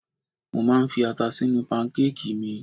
Mo máa ń fi ata sínú pankákìì mi.